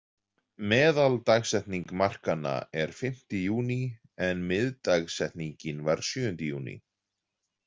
Meðaldagsetning markanna er fimmti júní, en miðdagsetning var sjöundi júní.